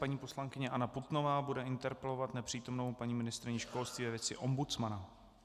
Paní poslankyně Anna Putnová bude interpelovat nepřítomnou paní ministryni školství ve věci ombudsmana.